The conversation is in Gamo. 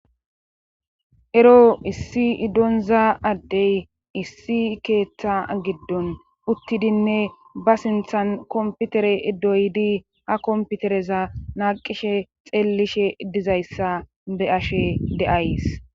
Ero issi idonza addey issi keeththa giddon uttidinne ba sinthan komputere iddoydi ha komputereza naqishe xeellishe dizayssa be ashe de'ays.